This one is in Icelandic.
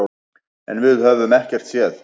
En við höfum ekkert séð.